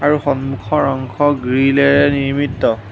আৰু সন্মুখৰ অংশ গ্ৰীলেৰে নিৰ্মিত।